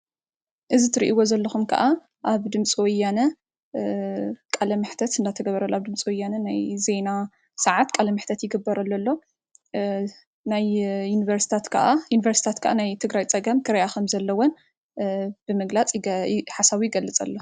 እዚ ትሪእዎ ዘለኩም ከዓ አብ ድምፂ ወያነ ቃለ-መሕተት እናተገበረላ፤ ድምፂ ወያነ ናይ ዜና ሰዓት ቃለ መሕተት ይግበረሉ አሎ፡፡ ናይ ዩኒቨርሲታት ከዓ ናይ ትግራይ ፀገም ክሪኣ ከም ዘለወን ብምግላፅ ሓሳቡ ይገልፅ ኣሎ፡፡